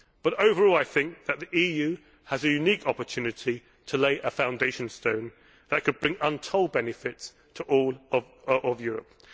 But overall, I think that the EU has a unique opportunity to lay a foundation stone that could bring untold benefits to all of Europe.